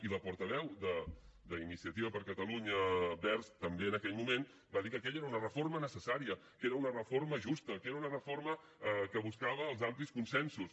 i la portaveu d’iniciativa per catalunya verds també en aquell moment va dir que aquella era una reforma necessària que era una reforma justa que era una reforma que buscava els amplis consensos